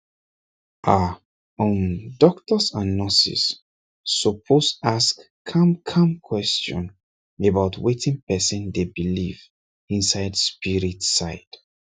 ah um doctors and nurses suppose ask calmcalm question about wetin person dey believe inside spirit side